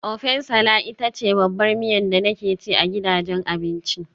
Ofẹ nsala ita ce babbar miya da nake ci a gidajen abinci.